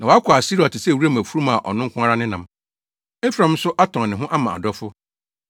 Na wɔakɔ Asiria te sɛ wuram afurum a ɔno nko ara nenam. Efraim nso atɔn ne ho ama adɔfo.